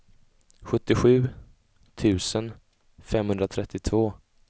sjuttiosju tusen femhundratrettiotvå